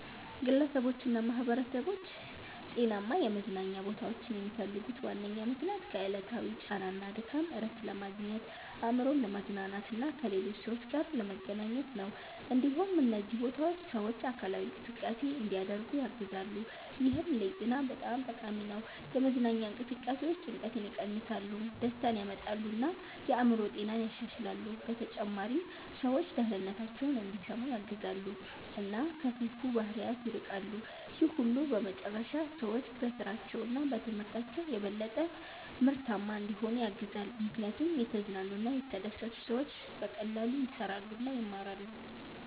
ግለሰቦችና ማኅበረሰቦች ጤናማ የመዝናኛ ቦታዎችን የሚፈልጉት ዋነኛ ምክንያት ከዕለታዊ ጫና እና ድካም እረፍት ለማግኘት፣ አእምሮን ለማዝናናት እና ከሌሎች ሰዎች ጋር ለመገናኘት ነው። እንዲሁም እነዚህ ቦታዎች ሰዎች አካላዊ እንቅስቃሴ እንዲያደርጉ ያግዛሉ፣ ይህም ለጤና በጣም ጠቃሚ ነው። የመዝናኛ እንቅስቃሴዎች ጭንቀትን ይቀንሳሉ፣ ደስታን ያመጣሉ እና የአእምሮ ጤናን ያሻሽላሉ። በተጨማሪም ሰዎች ደህንነታቸውን እንዲሰሙ ያግዛሉ እና ከክፉ ባህሪያት ይርቃሉ። ይህ ሁሉ በመጨረሻ ሰዎች በስራቸው እና በትምህርታቸው የበለጠ ምርታማ እንዲሆኑ ያግዛል፣ ምክንያቱም የተዝናኑ እና የተደሰቱ ሰዎች በቀላሉ ይሰራሉ እና ይማራሉ።